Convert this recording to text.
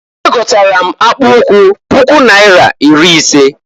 Egotara m akpụụkwụ puku naira iri ise.